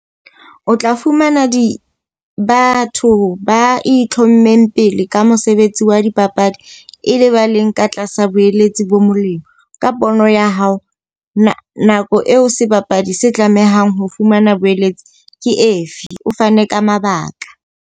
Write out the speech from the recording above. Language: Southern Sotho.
O tla fumana di batho ba itlhommeng pele ka mosebetsi wa dipapadi. E le ba leng ka tlasa boeletsi bo molemo. Ka pono ya hao, na nako eo sebapadi se tlamehang ho fumana boeletsi ke efe? O fane ka mabaka.